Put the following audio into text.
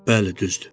Bəli, düzdür.